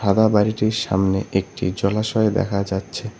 সাদা বাড়িটির সামনে একটি জলাশয় দেখা যাচ্ছে।